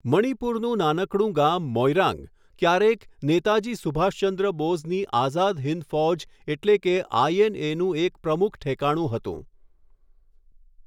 મણિપુરનું નાનકડું ગામ મોઇરાંગ, ક્યારેક નેતાજી સુભાષચંદ્ર બોઝની આઝાદ હિન્દ ફૌજ એટલે કે આઈએનએનું એક પ્રમુખ ઠેકાણું હતું.